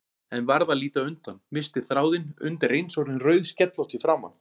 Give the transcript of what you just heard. En varð að líta undan, missti þráðinn, undireins orðin rauðskellótt í framan.